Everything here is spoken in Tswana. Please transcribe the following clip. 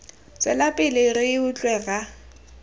tswela pele re utlwe rra